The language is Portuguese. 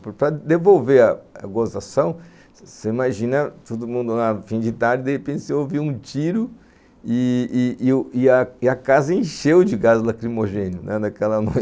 Para devolver a gozação, você imagina todo mundo no fim de tarde, de repente, você ouve um tiro e e e a casa encheu de gás lacrimogêneo naquela noite